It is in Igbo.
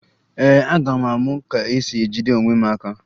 Ee, aga m amụ ka esi ejide onwe m aka